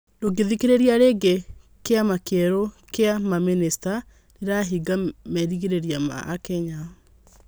Ndũgĩthikĩrĩria rĩngĩ kĩama kĩerũ kĩa mamĩnĩsta rirahingia merĩgĩrĩra ma akenya?